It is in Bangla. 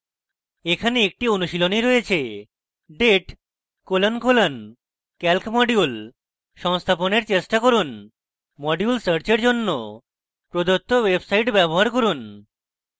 এখানে একটি অনুশীলনী রয়েছে